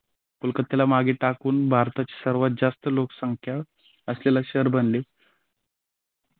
कलकत्त्याला मागे टाकून भारतात सर्वात जास्त लोकसंख्या असलेल्या शहर बनले.